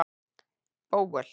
Bóel